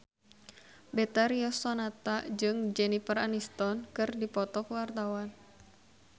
Betharia Sonata jeung Jennifer Aniston keur dipoto ku wartawan